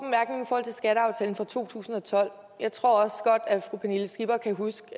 skatteaftalen fra to tusind og tolv jeg tror også godt at fru pernille skipper kan huske